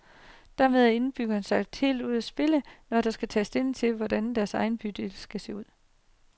Dermed er indbyggerne sat helt ud af spillet, når der skal tages stilling til, hvordan deres egen bydel skal se ud.